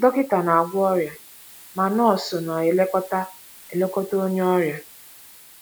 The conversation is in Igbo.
“ Dọkịta na - agwọ ọrịa, ma nọọsụ na - elekọta elekọta onye ọrịa.